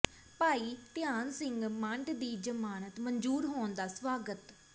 ਭਾਈ ਧਿਆਨ ਸਿੰਘ ਮੰਡ ਦੀ ਜ਼ਮਾਨਤ ਮਨਜ਼ੂਰ ਹੋਣ ਦਾ ਸਵਾਗਤ